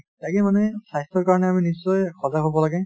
তাকে মানে স্বাস্থ্যৰ কাৰণে আমি নিশ্চয় সজাগ হ'ব লাগে |